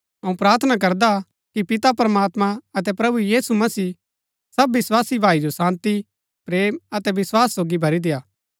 अऊँ प्रार्थना करदा कि पिता प्रमात्मां अतै प्रभु यीशु मसीह सब विस्वासी भाई जो शान्ती प्रेम अतै वस्‍वास सोगी भरी देय्आ